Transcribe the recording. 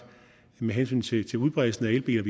med hensyn til til udbredelsen af elbiler